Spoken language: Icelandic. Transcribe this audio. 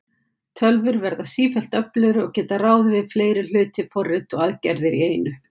Tölvur verða sífellt öflugri og geta ráðið við fleiri hluti, forrit og aðgerðir í einu.